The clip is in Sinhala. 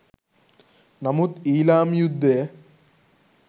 නමුත් ඊළාම් යුද්ධය